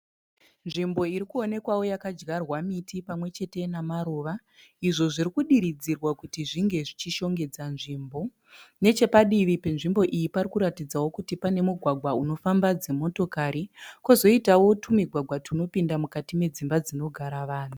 Nzvimbo irikuonekwa yakadyarwa miti pamwe chete nemaruva. Izvo zvitikudiridzirwa kuti zvinge zvichishongedza nzvimbo. Nechepadivi penzvimbo iyi pakuratidzawo kuti pane mugwagwa unofamba dzi motokari kozoitawo tumigwagwa tunopinda mukati medzimba dzinogara vanhu.